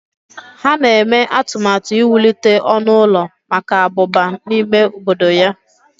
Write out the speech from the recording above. Ha na-eme atụmatụ iwulite ọnụ ụlọ maka abụba n'ime obodo ya.